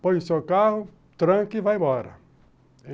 Põe o seu carro, tranca e vai embora.